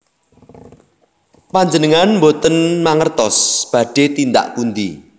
Panjenengan boten mangertos badhé tindak pundi